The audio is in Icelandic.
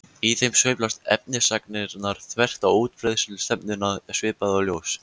Í þeim sveiflast efnisagnirnar þvert á útbreiðslustefnuna svipað og ljós.